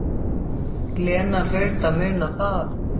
Lena hlaut að muna það.